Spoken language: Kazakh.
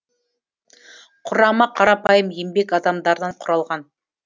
құрамы қарапайым еңбек адамдарынан құралған